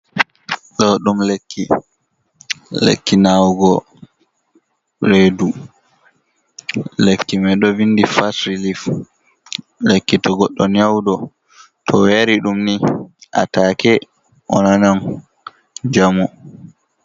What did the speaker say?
Ɗo ɗum lekki, lekkinawugo redu lekkimai ɗo vindi fas rilif, lekki to goɗɗo nyauɗ to oyari ɗum ni a take o nanam jamu.